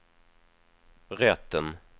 rätten